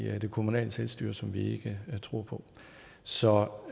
det kommunale selvstyre som vi ikke tror på så